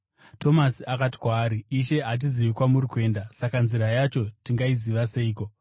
Tomasi akati kwaari, “Ishe hatizivi kwamuri kuenda, saka nzira yacho tingaiziva seiko?”